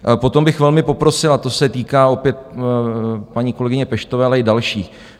Potom bych velmi poprosil - a to se týká opět paní kolegyně Peštové, ale i dalších.